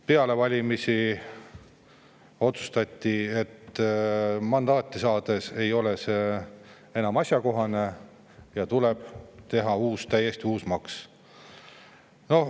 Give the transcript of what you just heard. Peale valimisi otsustati, et mandaat on saadud, see ei ole enam asjakohane ja tuleb teha uus, täiesti uus maks.